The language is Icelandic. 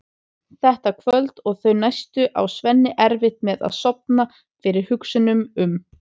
Þetta kvöld og þau næstu á Svenni erfitt með að sofna fyrir hugsunum um